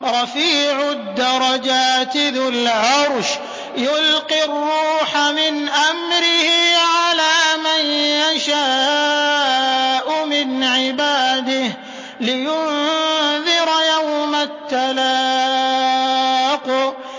رَفِيعُ الدَّرَجَاتِ ذُو الْعَرْشِ يُلْقِي الرُّوحَ مِنْ أَمْرِهِ عَلَىٰ مَن يَشَاءُ مِنْ عِبَادِهِ لِيُنذِرَ يَوْمَ التَّلَاقِ